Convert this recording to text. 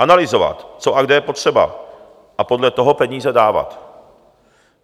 Analyzovat, co a kde je potřeba, a podle toho peníze dávat.